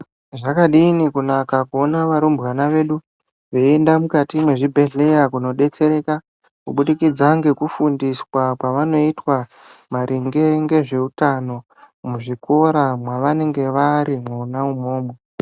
Zvakadini kunaka kuona varumbwana vedu veienda mukati mwezvibhedhleya kunodetserwka kubudikidza ngekufundiswa kwavanoita maringe ngezveutano muzvikora mwavanenge vari mwona umwomwo.